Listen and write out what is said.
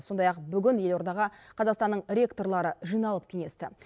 сондай ақ бүгін елордаға қазақстанның ректорлары жиналып кеңесті